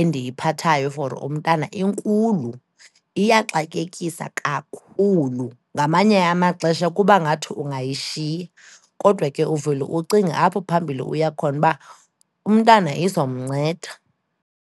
endiyiphathayo for umntana inkulu, iyaxakekisa kakhulu. Ngamanye amaxesha kuba ngathi ungayishiya, kodwa ke uvele ucinge apho phambili uya khona uba umntana izomnceda.